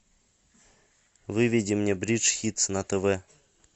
выведи мне бридж хитс на тв